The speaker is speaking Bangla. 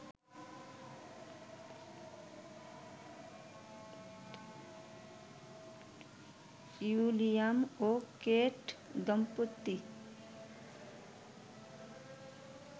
উইলিয়াম ও কেট দম্পতি